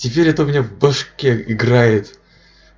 теперь это у меня башке играет